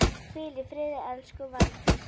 Hvíl í friði elsku Valdís.